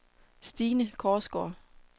Stine Korsgaard